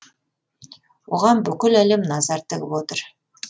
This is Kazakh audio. оған бүкіл әлем назар тігіп отыр